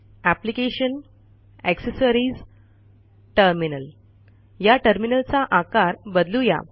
application gt accessories gt terminal या टर्मिनलचा आकार बदलू या